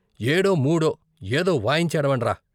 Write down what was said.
ఏడో మూడో ఏదో వాయించేడవండ్రా!